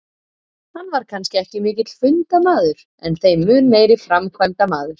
Hann var kannski ekki mikill fundamaður en þeim mun meiri framkvæmdamaður.